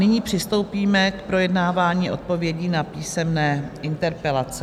Nyní přistoupíme k projednávání odpovědí na písemné interpelace.